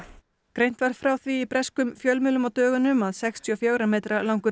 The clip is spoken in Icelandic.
greint var frá því breskum fjölmiðlum á dögunum að sextíu og fjögurra metra langur